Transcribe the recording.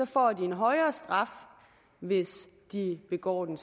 får de en højere straf hvis de begår den